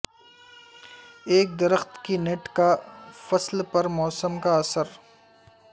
ایک درخت کے نٹ کا فصل پر موسم کا اثر